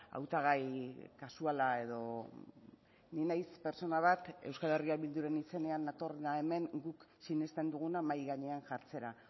hautagai kasuala edo ni naiz pertsona bat euskal herria bilduren izenean natorrena hemen guk sinesten duguna mahai gainean jartzera